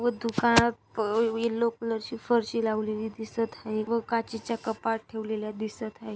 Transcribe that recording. व दुकानात yellow colour ची फारशी लावलेली दिसत हाय व काचेच्या कपाट ठेवलेल्या दिसत आहे.